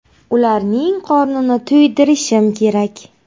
Ularning qornini to‘ydirishim kerak.